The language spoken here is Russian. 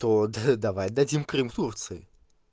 то д давай дадим крым турции